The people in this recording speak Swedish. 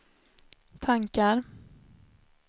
tankar